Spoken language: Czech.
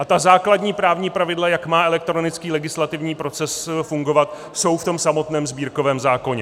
A ta základní právní pravidla, jak má elektronický legislativní proces fungovat, jsou v tom samotném sbírkovém zákoně.